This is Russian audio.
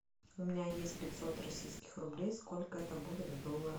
у меня есть пятьсот российских рублей сколько это будет в долларах